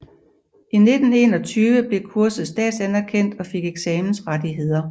I 1921 blev kurset statsanerkendt og fik eksamensrettigheder